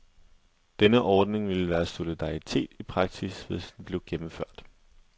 Denne ordning ville være solidaritet i praksis, hvis den blev gennemført.